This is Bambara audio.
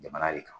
Jamana de kan